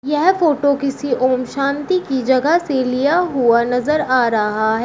यह फोटो किसी ओम शांति की जगह से लिया हुआ नजर आ रहा है।